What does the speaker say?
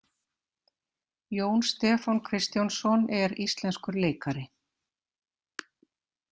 Jón Stefán Kristjánsson er íslenskur leikari.